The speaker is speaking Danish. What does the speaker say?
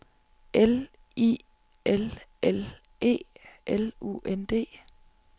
L I L L E L U N D